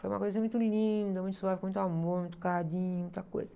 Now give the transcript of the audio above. Foi uma coisa muito linda, muito suave, com muito amor, muito carinho, muita coisa.